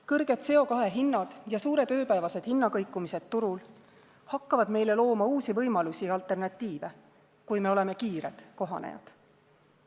Kõrged CO2 hinnad ja suured ööpäevased hinnakõikumised turul hakkavad meile looma uusi võimalusi ja alternatiive, kui me oleme kiired kohanejad.